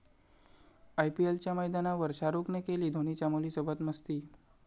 आयपीएलच्या मैदानावर शाहरुखने केली धोनीच्या मुलीसोबत मस्ती!